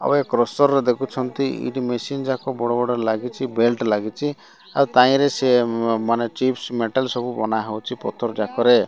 ଆଉ ଏ କ୍ରସର ଦେଖୁଛନ୍ତି ଏଇଠି ମେସିନ ଯାକ ବଡ଼ ବଡ଼ ଲାଗିଛି। ବେଲ୍ଟ ଲାଗିଚି। ଆଉ ତାଇଁରେ ସିଏ ମାନେ ଚିପ୍ସ ମେଟାଲ ସବୁ ବନା ହଉଛି ପଥର ଯାକରେ।